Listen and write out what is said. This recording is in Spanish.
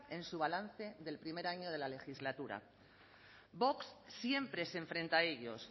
en su balance del primer año de la legislatura vox siempre se enfrenta a ellos